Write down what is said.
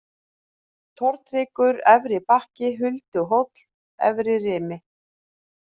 Tortryggur, Efri-Bakki, Hulduhóll, Efririmi